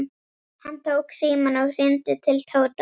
Hann tók símann og hringdi til Tóta.